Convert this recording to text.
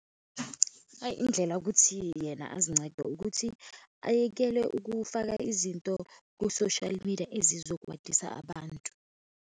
Hhayi, indlela ukuthi yena ezinceda, ukuthi ayekele ukufaka izinto ku-social media ezizokwatisa abantu.